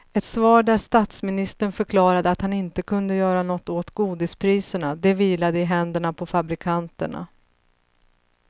Ett svar där statsministern förklarade att han inte kunde göra något åt godispriserna, det vilade i händerna på fabrikanterna.